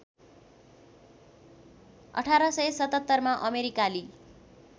१८७७ मा अमेरिकाली